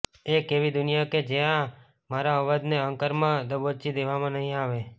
એક એવી દુનિયા કે જ્યાં મારા અવાજને અહંકારમા દબોચી દેવામાં નહી આવે